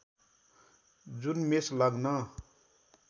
जुन मेष लग्न